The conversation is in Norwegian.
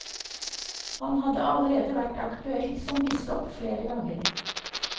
Han hadde allerede vært aktuell som biskop flere ganger.